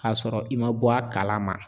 K'a sɔrɔ i ma bɔ a kalama